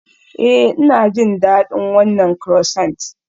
Ee, Ina jin daɗin wannan croissant.